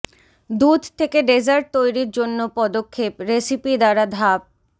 দুধ থেকে ডেজার্ট তৈরীর জন্য পদক্ষেপ রেসিপি দ্বারা ধাপ